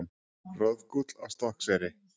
Roðgúll á Stokkseyri.